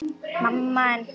ERT Í STREÐI.